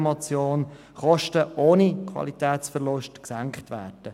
Auch dies ist ein Ziel der vorliegenden Motion.